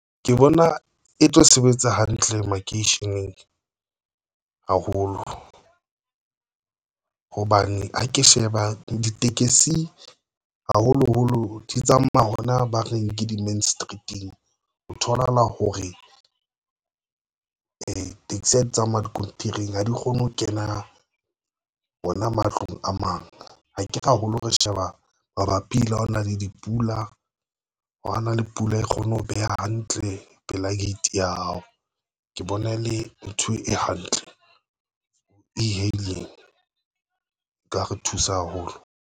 Ke bona e tlo sebetsa hantle makeisheneng haholo hobane ha ke sheba ditekesi haholoholo di tsamaya hona ba reng ke di-main street-ing o tholahala hore taxi ya di tsamaya diskontiri ha di kgone ho kena hona matlong a mang. Ha ke re haholo re sheba mabapi le ho na le dipula, ho na le pula e kgone ho beha hantle pela get ya hao, ke bona e le ntho e hantle e hailing nka re thusa haholo.